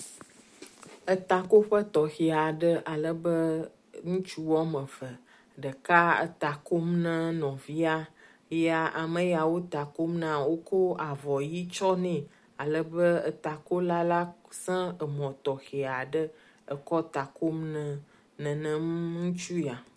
Etakoƒe tɔxɛ aɖe alebe ŋutsu wɔmeve, ɖeka eta kom na nɔvia eye ameya wo takom na wokɔ avɔ ɣi tsɔ nɛ alebe etakola la zã emɔ tɔxɛ aɖe ekɔ takom na nenem ŋutsu ya.